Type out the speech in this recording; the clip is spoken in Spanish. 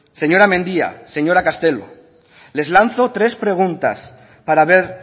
señora mendia señora castelo les lanzo tres preguntas para ver